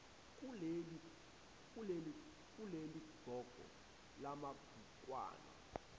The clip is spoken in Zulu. kuleli qoqo lamabhukwana